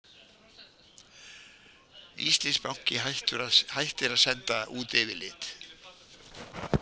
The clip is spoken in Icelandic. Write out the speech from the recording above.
Íslandsbanki hættir að senda út yfirlit